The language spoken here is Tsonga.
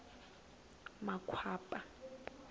makwapa